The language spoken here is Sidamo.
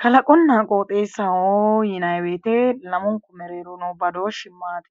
Kalaqonna qooxeessaho yinay woyte no badooshshi maayi?